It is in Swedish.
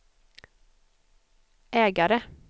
ägare